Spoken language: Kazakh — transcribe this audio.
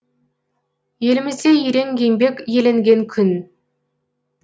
елімізде ерен еңбек еленген күн